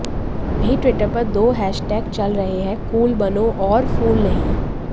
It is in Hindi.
वहीं ट्विटर पर दो हैश टैग चल रहे हैं कूल बनो और फूल नहीं